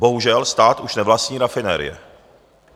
Bohužel, stát už nevlastní rafinerie.